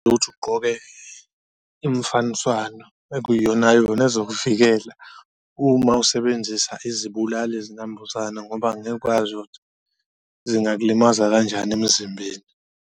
Ukuthi ugqoke imfaniswano ekuyona yona ezokuvikela uma usebenzisa izibulali-zinambuzane ngoba angeke ukwazi ukuthi zingakulimaza kanjani emzimbeni.